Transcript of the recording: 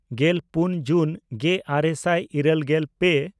ᱜᱮᱞᱯᱩᱱ ᱡᱩᱱ ᱜᱮᱼᱟᱨᱮ ᱥᱟᱭ ᱤᱨᱟᱹᱞᱜᱮᱞ ᱯᱮ